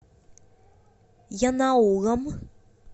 янаулом